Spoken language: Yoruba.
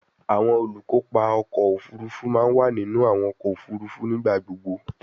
Awọn olukopa ọkọ ofurufu ma wa ninu awọn ọkọ ofurufu nigbagbogbo